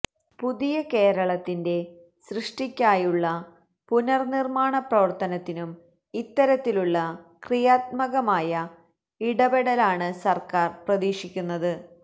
പുതിയ കേരളത്തിന്റെ സൃഷ്ടിക്കായുള്ള പുനർനിർമ്മാണ പ്രവർത്തനത്തിനും ഇത്തരത്തിലുള്ള ക്രിയാത്മകമായ ഇടപെടലാണ് സർക്കാർ പ്രതീക്ഷിക്കുന്നത്